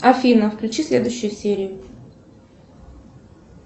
афина включи следующую серию